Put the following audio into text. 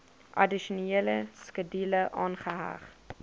addisionele skedule aangeheg